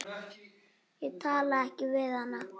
Ég talaði ekki við hana.